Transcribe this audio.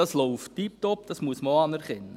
Das läuft tipptopp, das muss man auch anerkennen.